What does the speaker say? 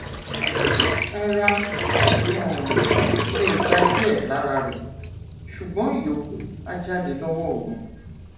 ara um lè gba díẹ lára rẹ ṣùgbọn ìyókù á jáde lọwọ òru